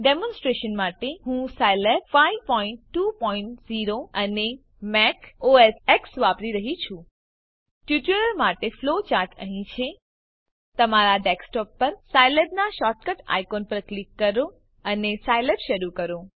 demonstration માટે હું Scilab 520 અને મેક ઓએસ એક્સ વાપરી રહ્યી છું ટ્યુટોરીયલ માટે ફ્લો ચાર્ટ અહીં છે તમારા ડેસ્કટોપ પર સાયલેબનાં શોર્ટકટ આઇકોન પર ક્લિક કરો અને સાયલેબ શરૂ કરો